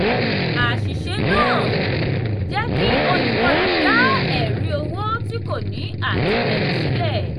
àṣìṣe náà jẹ́ kí olùkọlù dá ẹ̀rí owó tí kò ní àtìlẹyìn sílẹ̀.